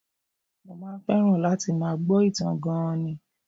Mo máa ń fẹ́ràn láti máa gbọ́ ìtàn gan-an ni